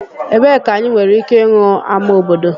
Ebee ka anyị nwere ike ịhụ ama obodo?